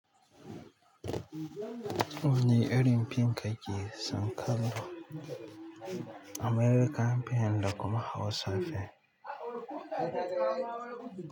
Wane irin fim kakeson kallo american fim da kuma Hausa fim.